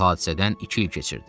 Bu hadisədən iki il keçirdi.